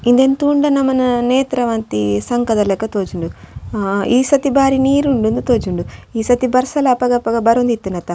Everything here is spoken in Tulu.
ಇಂದೆನ್ ತೂಂಡ ನಮನ ನೇತ್ರಾವತಿ ಸಂಕದ ಲಕ ತೋಜುಂಡು ಈ ಸರ್ತಿ ಬಾರಿ ನೀರ್ ಉಂಡ್ ಇಂದ್ ತೋಜುಂಡ್ ಈ ಸರ್ತಿ ಬರ್ಸಲ ಅಪಗ ಅಪಗ ಬರೊಂದಿತ್ತುಂಡತ.